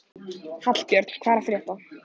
Hallbjörn, hvað er að frétta?